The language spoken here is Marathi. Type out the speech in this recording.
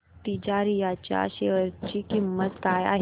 तिजारिया च्या शेअर ची किंमत काय आहे